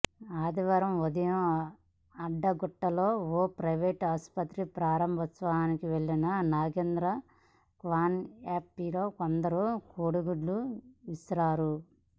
ఆదివారం ఉదయ అడ్డగుట్టలో ఓ ప్రైవేట్ ఆస్పత్రి ప్రారంభోత్సవానికి వెళ్లిన నాగేంద్ర కాన్వాయ్పై కొందరు కోడిగుడ్లు విసిరారు